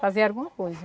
Fazer alguma coisa.